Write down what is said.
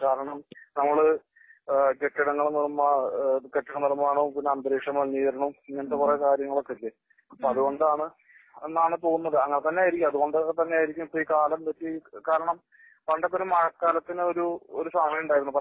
കാരണം നമ്മള് കെട്ടിടങ്ങൾ നിർമാ കെട്ടിട നിർമാണവും പിന്നെ അന്തരീക്ഷ മലിനീകരണം ഇങ്ങനത്തെ കുറെ കാര്യങ്ങളൊക്കെ ഇല്ലേ? അപ്പോ അതുകൊണ്ടാണ് എന്നാണ് തോന്നുന്നത്. അങ്ങനെ തന്നെ ആയിരിക്കാം അതുകൊണ്ട് ഒക്കെ തന്നെ ആയിരിക്കാം ഈ കാലം കാരണം പണ്ടൊക്കെ ഒരു മഴക്കാലത്തിന് ഒരു സമയം ഉണ്ടായിരുന്നു. പക്ഷേ